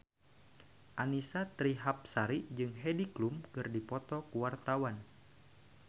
Annisa Trihapsari jeung Heidi Klum keur dipoto ku wartawan